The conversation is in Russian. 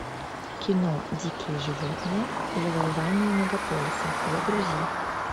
кино дикие животные завоевание мегаполиса загрузи